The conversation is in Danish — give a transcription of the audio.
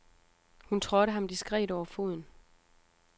Hun trådte ham diskret over foden.